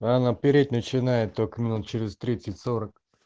а она переть начинает только минут через тридцать сорок